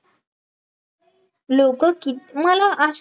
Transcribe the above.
लोकं कित मला अस